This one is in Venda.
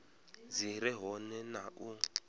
dzi re hone na u